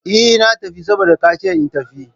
Eh! Na tafi saboda ka ce in tafi.